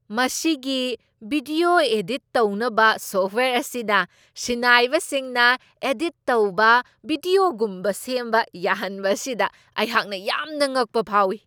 ꯃꯁꯤꯒꯤ video edit ꯇꯧꯅꯕ software ꯑꯁꯤꯅ ꯁꯤꯟꯅꯥꯏꯕꯁꯤꯡꯅ ꯑꯦꯗꯤꯠ ꯇꯧꯕ ꯕꯤꯗ꯭ꯌꯣꯒꯨꯝꯅ ꯁꯦꯝꯕ ꯌꯥꯍꯟꯕ ꯑꯁꯤꯗ ꯑꯩꯍꯥꯛꯅ ꯌꯥꯝꯅ ꯉꯛꯄ ꯐꯥꯎꯋꯤ ꯫